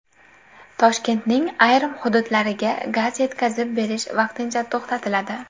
Toshkentning ayrim hududlariga gaz yetkazib berish vaqtincha to‘xtatiladi.